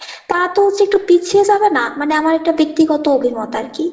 তারা তো হচ্ছে একটু পিছিয়ে যাবে না মানে আমার এটা ব্যক্তিগত অভিমত আর কি ?